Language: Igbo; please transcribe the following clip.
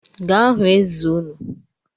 Gaa hụ onye eze nnu